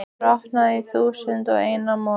brotnaði í þúsund og einn mola.